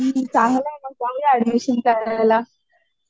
हा चांगला आहे ना जाऊया एडमिशन करायला